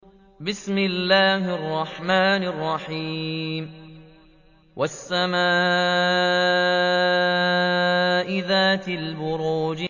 وَالسَّمَاءِ ذَاتِ الْبُرُوجِ